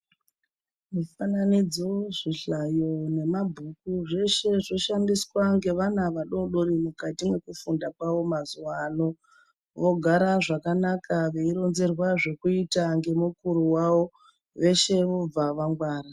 Mufananidzo zvihlayo nemabhuku zveshe zvoshandiswa nge vana vadodori mukati mwekufunda kwavo mazuano vogara zvakanaka veironzerwa zvekuita ngemukuru wavo veshe vobva vangwara.